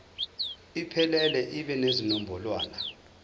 iphelele ibe nezinombolwana